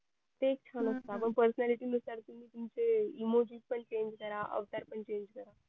तेच मग personality नुसार ते emogic पण change करा अवतार पण change करा